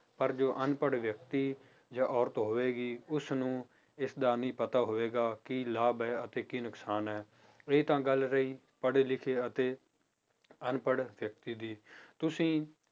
ਪਰ ਜੋ ਅਨਪੜ੍ਹ ਵਿਅਕਤੀ ਜਾਂ ਔਰਤ ਹੋਵੇਗੀ ਉਸਨੂੰ ਇਸਦਾ ਨਹੀਂ ਪਤਾ ਹੋਵੇਗਾ ਕੀ ਲਾਭ ਹੈ ਅਤੇ ਕੀ ਨੁਕਸਾਨ ਹੈ, ਇਹ ਤਾਂ ਗੱਲ ਰਹੀ ਪੜ੍ਹੇ ਲਿਖੇ ਅਤੇ ਅਨਪੜ੍ਹ ਵਿਅਕਤੀ ਦੀ ਤੁਸੀਂ